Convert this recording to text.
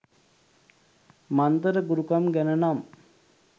මන්තර ගුරුකම් ගැන නම්.